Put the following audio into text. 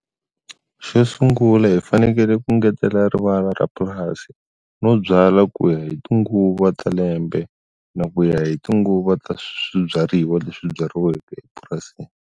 Xo sungula hi fanekele ku ngetela rivala ra purasi no byala ku ya hi tinguva ta lembe na ku ya hi tinguvu ta swibyariwa leswi byariweke epurasini.